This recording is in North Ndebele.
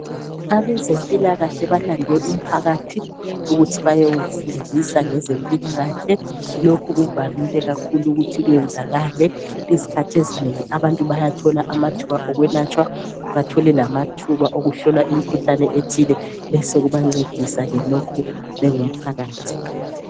Abezempilakahle balande abantwana ukuthi bayebafundisa ngezempilakahle , abantu bayathola amathuba okwelatshwa, ukuhlolisiswa kwemikhuhlane besebencediswa njengomphakathi.